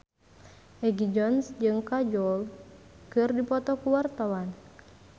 Egi John jeung Kajol keur dipoto ku wartawan